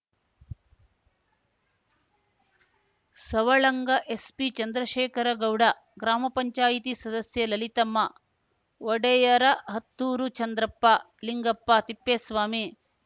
Savalanga SP Chandrashekhara Gowda ಗ್ರಾಮ ಪಂಚಾಯತಿ ಸದಸ್ಯೆ ಲಲಿತಮ್ಮ ಒಡೆಯರಹತ್ತೂರು ಚಂದ್ರಪ್ಪ ಲಿಂಗಪ್ಪ ತಿಪ್ಪೇಸ್ವಾಮಿ